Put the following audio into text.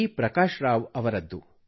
ಪ್ರಕಾಶ್ ರಾವ್ ಅವರದ್ದು